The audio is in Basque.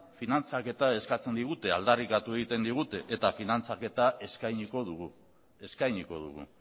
finantziaketa eskatzen digute aldarrikatu egiten digute eta finantziaketa eskainiko dugu eskainiko dugu